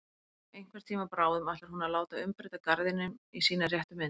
Einhvern tíma bráðum ætlar hún að láta umbreyta garðinum í sína réttu mynd.